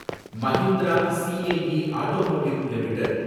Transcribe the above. Mahindra CIE automotive limited